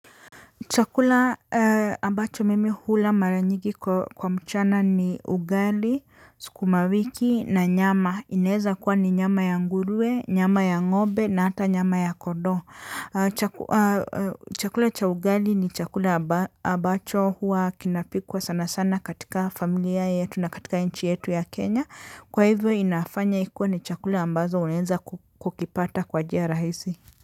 Chakula ambacho mimi hula maranyigi kwa mchana ni ugali, sukumawiki na nyama. Ineza kuwa ni nyama ya ngurue, nyama ya ng'ombe na hata nyama ya kodo. Chakula cha ugali ni chakula ambacho huwa kinapikwa sana sana katika familia yetu na katika inchi yetu ya Kenya. Kwa hivyo inafanya ikuwe ni chakula ambazo unenza kukipata kwa njia rahisi.